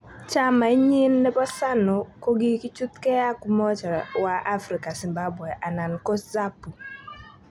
Chamai nyin nebo ZANU kokichutge ak umoja wa Afrika Zimbabwe ana ko ZAPU.